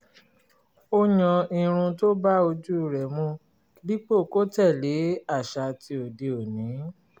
ó yan irun tó bá ojú rẹ̀ mu dípò kó tẹ̀lé àṣà ti òde-òní